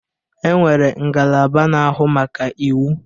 E nwere ngalaba na-ahụ maka iwụ.